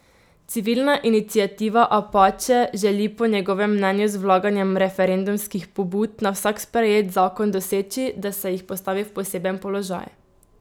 Civilna iniciativa Apače želi po njegovem mnenju z vlaganjem referendumskih pobud na vsak sprejet zakon doseči, da se jih postavi v poseben položaj.